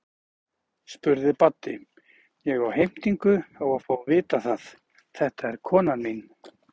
spurði Baddi, ég á heimtingu á að fá að vita það, þetta er konan mín.